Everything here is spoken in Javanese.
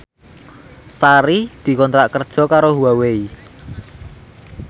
Sari dikontrak kerja karo Huawei